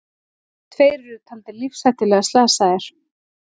Tveir eru taldir lífshættulega slasaðir